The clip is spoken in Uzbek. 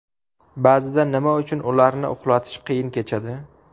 Ba’zida nima uchun ularni uxlatish qiyin kechadi?